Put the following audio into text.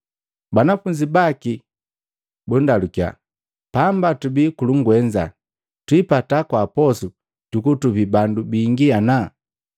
Banafunzi baki bundalukiya, “Pamba tubi kulungwenza, twiipata kwaa posu jukutupi bandu bingi ana?”